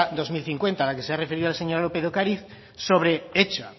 dos mil cincuenta la que se ha referido la señora lópez de ocariz hecha